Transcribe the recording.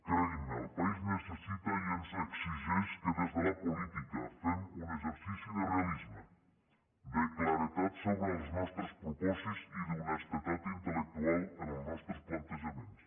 creguin me el país necessita i ens exigeix que des de la política fem un exercici de realisme de claredat sobre els nostres propòsits i d’honestedat intel·lectual en els nostres plantejaments